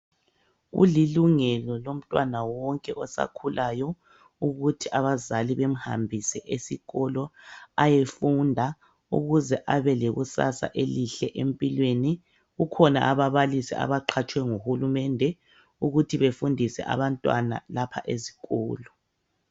Kulilungelo lomntwana wonke osakhulayo ukuthi abazali bemhambise esikolo ayefunda ukuze abelekusasa elihle empilweni . Kukhona ababalisi abaqhatshwe nguhulumende ukuthi befundise abantwana lapha ezikolo.